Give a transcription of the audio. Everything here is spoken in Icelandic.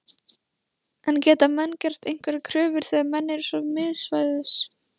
En geta menn gert einhverjar kröfur þegar menn eru svo miðsvæðis?